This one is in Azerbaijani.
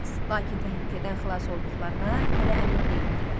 Lakin təhlükədən xilas olduqlarına hələ əmin deyildilər.